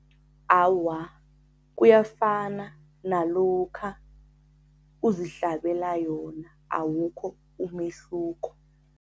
Awa, kuyafana nalokha uzihlabela yona, awukho umehluko.